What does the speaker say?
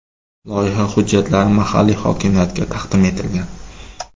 Loyiha hujjatlari mahalliy hokimiyatga taqdim etilgan.